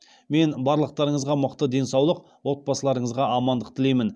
мен барлықтарыңызға мықты денсаулық отбасыларыңызға амандық тілеймін